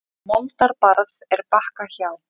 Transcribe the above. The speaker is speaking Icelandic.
Moldar barð er Bakka hjá.